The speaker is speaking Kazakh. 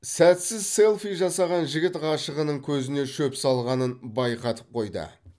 сәтсіз селфи жасаған жігіт ғашығының көзіне шөп салғанын байқатып қойды